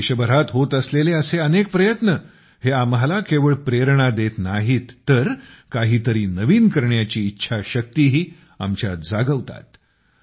देशभरात होत असलेले असे अनेक प्रयत्न हे आम्हाला केवळ प्रेरणा देत नाहीत तर काही तरी नवीन करण्याची इच्छाशक्तीही आमच्यात जागवतात